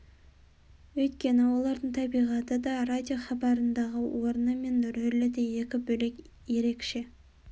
өйткені олардың табиғаты да радиохабарындағы орны мен ролі де екі бөлек ерекше